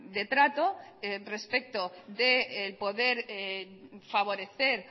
de trato respecto del poder favorecer